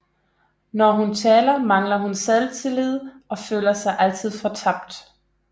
Når hun taler mangler hun selvtillid og føler sig altid fortabt